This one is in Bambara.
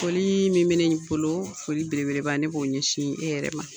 Foli min bɛ ne bolo foli belebeleba ne b'o ɲɛsin e yɛrɛ ma.